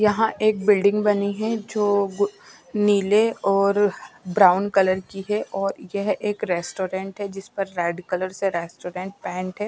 यहाँ एक बिल्डिंग बनी है जो ग नीले और ब्राउन कलर की है और यह एक रेस्टोरेंट है जिस पर रेड कलर से रेस्टोरेंट पेंट है।